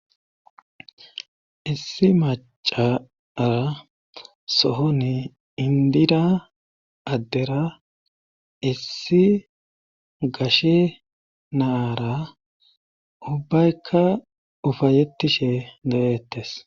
Issi macara sohoni indira addera issi gashe naara ubbaykka ufayetishe dettes